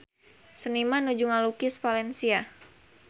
Seniman nuju ngalukis Valencia